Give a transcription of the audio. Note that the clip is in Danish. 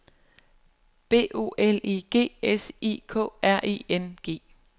B O L I G S I K R I N G